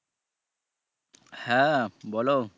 হ্যাঁ বলো।